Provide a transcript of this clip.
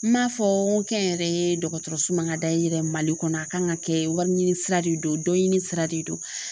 N man fɔ n ko kɛnyɛrɛye dɔgɔtɔrɔso man ka dayɛrɛ Mali kɔnɔ a kan ka kɛ wari ɲini sira de do dɔnɲinin sira de do.